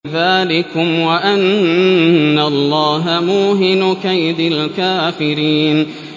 ذَٰلِكُمْ وَأَنَّ اللَّهَ مُوهِنُ كَيْدِ الْكَافِرِينَ